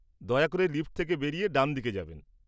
দয়া করে লিফট থেকে বেড়িয়ে ডানদিকে যাবেন।